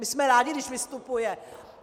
My jsme rádi, když vystupuje.